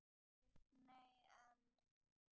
Geir Nei, en.